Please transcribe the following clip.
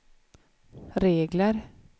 regler